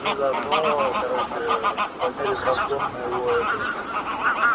и заодно короче померием разгон моего этого